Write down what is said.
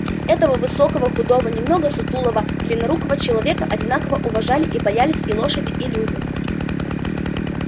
этого высокого худого немного сутуловатого длиннорукого человека одинаково уважали и боялись и лошади и люди